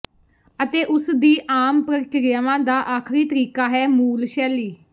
ਅਤੇ ਉਸਦੀ ਆਮ ਪ੍ਰਕਿਰਿਆਵਾਂ ਦਾ ਆਖਰੀ ਤਰੀਕਾ ਹੈ ਮੂਲ ਸ਼ੈਲੀ